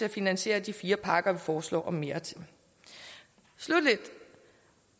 at finansiere de fire parker vi foreslår og mere til sluttelig